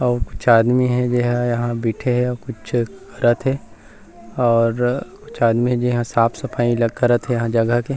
अऊ कुछ आदमी हे जेहा यहाँ बईथे हे अऊ कुछ करत हे और कुछ आदमी हे जेहा यहाँ साफ़-सफाई ल करत हे इहाँ जगह के--